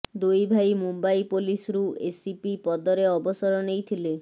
ଦୁଇ ଭାଇ ମୁମ୍ବାଇ ପୋଲିସରୁ ଏସିପି ପଦରେ ଅବସର ନେଇଥିଲେ